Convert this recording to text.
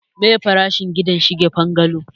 meye farashin gida shigen bungalo?